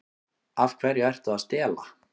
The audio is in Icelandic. Af hverju ertu að stela?